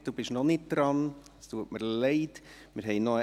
Margrit Junker, Sie sind noch nicht an der Reihe, bitte entschuldigen Sie.